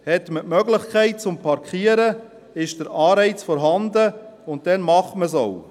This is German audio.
Hat man die Möglichkeit, zu parkieren, ist der Anreiz vorhanden, und dann macht man es auch.